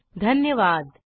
सहभागासाठी धन्यवाद